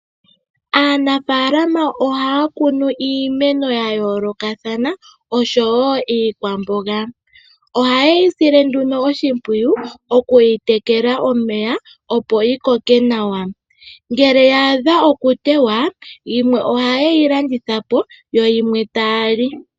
Aanafaalama ohaya kunu iimeno yayooloka thana oshowo iikwamboga ohaye yosile nduno oshipwiyu okuyi telela omeya opo yikoke nawa .ngele yaadha okuteya yimwe ohayeyi landithapo yoyimwe taali.